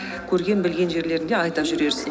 көрген білген жерлеріңде айта жүрерсің